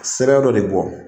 Sira dɔ de bɔ.